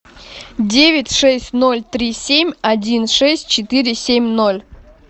девять шесть ноль три семь один шесть четыре семь ноль